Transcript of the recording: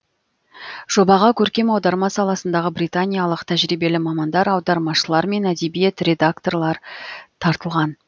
жобаға көркем аударма саласындағы британиялық тәжірибелі мамандар аудармашылар мен әдебиет редакторлар тартылған